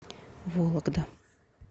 вологда